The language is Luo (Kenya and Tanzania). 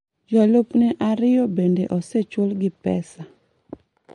Jolupne ariyo bende osechulgi pesa.